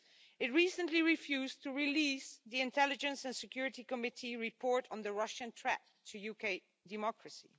It recently refused to release the Intelligence and Security Committee report on the Russian threat to UK democracy.